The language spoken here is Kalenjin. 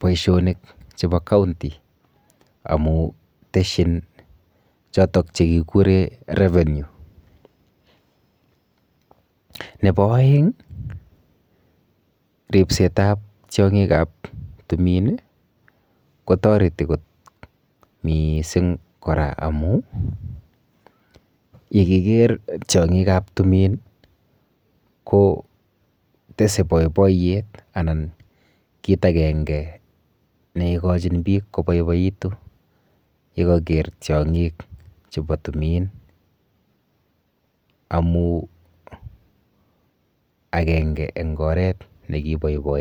boishonikap county inoto amu teshin chotok chekikure revenue. Nepo oeng, ripsetap tiong'ikap tumin kotoreti kot miising kora amu yekiker tiong'ikap tumin kotese boiboiyet anan kit akenge neikochin biik koboiboitu yekaker tiong'ik chepo tumin amu akenge eng oret nekiboiboegei.